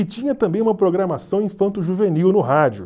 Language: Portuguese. E tinha também uma programação Infanto Juvenil no rádio.